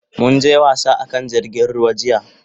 Mun je wasa a kan jirgin ruwa jiya.